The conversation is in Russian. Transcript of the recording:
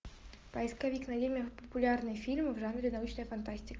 поисковик найди мне популярные фильмы в жанре научная фантастика